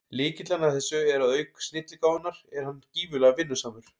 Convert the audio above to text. Lykillinn að þessu er að auk snilligáfunnar er hann gífurlega vinnusamur.